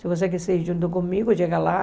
Se você quiser ir junto comigo, chega lá.